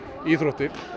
íþróttir